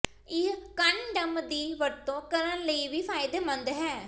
ਇਹ ਕੰਨਡਮ ਦੀ ਵਰਤੋਂ ਕਰਨ ਲਈ ਵੀ ਫਾਇਦੇਮੰਦ ਹੈ